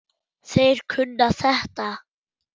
Þeir kunna þetta.